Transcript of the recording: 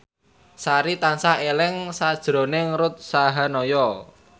Sari tansah eling sakjroning Ruth Sahanaya